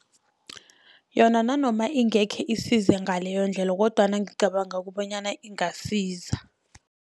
Yona nanoma ingekhe isize ngaleyo ndlela kodwana ngicabanga kobanyana ingasiza.